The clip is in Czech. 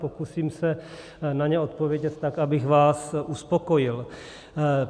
Pokusím se na ně odpovědět tak, abych vás uspokojil.